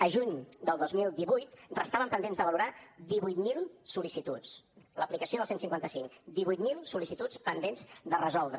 a juny del dos mil divuit restaven pendents de valorar divuit mil sol·licituds l’aplicació del cent i cinquanta cinc divuit mil sol·licituds pendents de resoldre